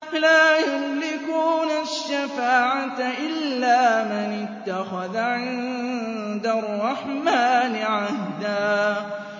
لَّا يَمْلِكُونَ الشَّفَاعَةَ إِلَّا مَنِ اتَّخَذَ عِندَ الرَّحْمَٰنِ عَهْدًا